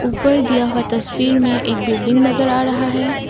ऊपर दिया हुआ तस्वीर में एक बिल्डिंग नजर आ रहा है।